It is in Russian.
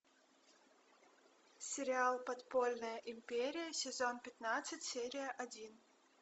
сериал подпольная империя сезон пятнадцать серия один